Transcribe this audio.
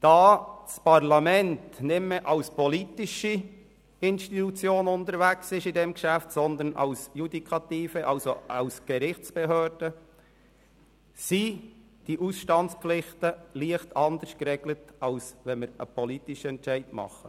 Da das Parlament bei diesem Geschäft nicht mehr als politische Institution amtet, sondern als Judikative, also als Gerichtsbehörde, sind die Ausstandspflichten leicht anders geregelt, als wenn wir einen politischen Entscheid fällen.